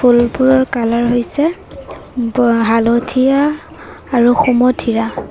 ফুলবোৰৰ colour হৈছে ব হালধীয়া আৰু সুমথিয়া।